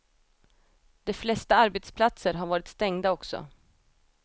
De flesta arbetsplatser har varit stängda också.